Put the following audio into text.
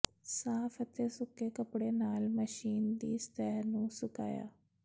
ਸਾਫ਼ ਅਤੇ ਸੁੱਕੇ ਕੱਪੜੇ ਨਾਲ ਮਸ਼ੀਨ ਦੀ ਸਤਹ ਨੂੰ ਸੁਕਾਓ